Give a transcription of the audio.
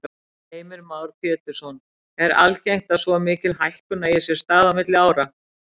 Heimir Már Pétursson: Er algengt að svo mikil hækkun eigi sér stað á milli áranna?